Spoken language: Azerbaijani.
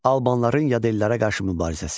Albanların yad ellərə qarşı mübarizəsi.